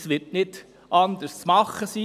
Es wird nicht anders möglich sein.